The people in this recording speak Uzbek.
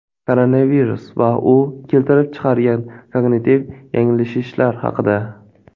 Koronavirus va u keltirib chiqargan kognitiv yanglishishlar haqida.